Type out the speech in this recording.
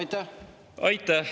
Aitäh!